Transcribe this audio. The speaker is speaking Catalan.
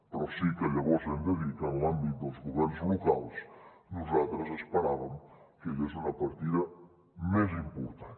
però sí que llavors hem de dir que en l’àmbit dels governs locals nosaltres esperàvem que hi hagués una partida més important